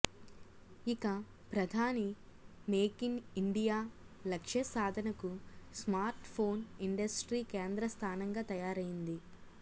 ఇక ప్రధాని make in India లక్ష్య సాధనకు స్మార్ట్ ఫోన్ ఇండస్ట్రీ కేంద్రస్థానంగా తయారైంది